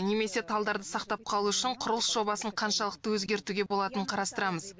немесе талдарды сақтап қалу үшін құрылыс жобасын қаншалықты өзгертуге болатынын қарастырамыз